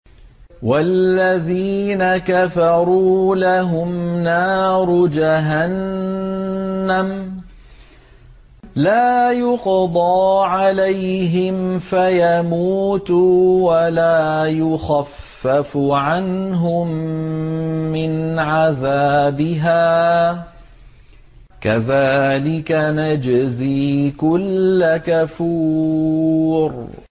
وَالَّذِينَ كَفَرُوا لَهُمْ نَارُ جَهَنَّمَ لَا يُقْضَىٰ عَلَيْهِمْ فَيَمُوتُوا وَلَا يُخَفَّفُ عَنْهُم مِّنْ عَذَابِهَا ۚ كَذَٰلِكَ نَجْزِي كُلَّ كَفُورٍ